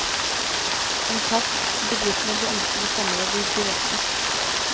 Kontakt bedriftene du ønsker sommerjobb i direkte.